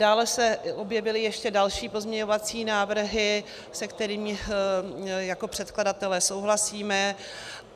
Dále se objevily ještě další pozměňovací návrhy, se kterými jako předkladatelé souhlasíme.